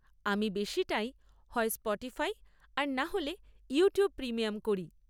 আমি বেশিটাই হয় স্পটিফাই আর নাহলে ইউটিউব প্রিমিয়াম করি।